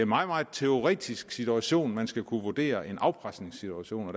meget meget teoretisk situation at man skulle kunne vurdere en afpresningssituation og